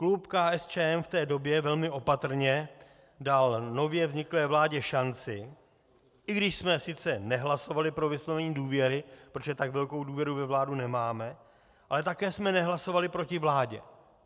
Klub KSČM v té době velmi opatrně dal nově vzniklé vládě šanci, i když jsme sice nehlasovali pro vyslovení důvěry, protože tak velkou důvěru ve vládu nemáme, ale také jsme nehlasovali proti vládě.